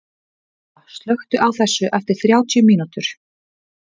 Gerða, slökktu á þessu eftir þrjátíu mínútur.